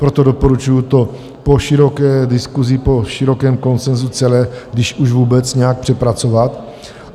Proto doporučuji to po široké diskusi, po širokém konsenzu celé když už vůbec nějak přepracovat.